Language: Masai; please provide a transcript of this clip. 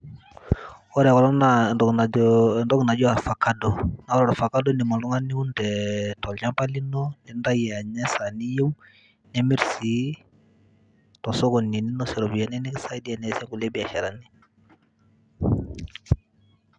Ore kulo naa entoki najo entoki naji orvacado, ore orvacado indim oltung'ani niun tee tolchamba lino nintayu anya esaa niyeu, nimir sii to sokoni ninosie iropiani nikisaidia niasie kulie biasharani.